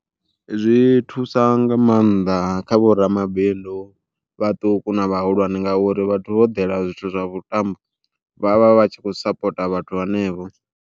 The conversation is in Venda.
Zwi thusa nga maanḓa kha vho ramabindu vhaṱuku na vhahulwane ngauri vhathu vho ḓela zwithu zwa vhuṱambo, vhavha vhatshi kho sapota vhathu vhenevho.